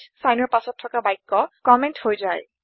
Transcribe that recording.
চাইনৰ পাছত থকা বাক্য কম্মেন্ট হৈ যায়